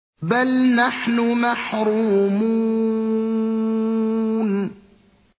بَلْ نَحْنُ مَحْرُومُونَ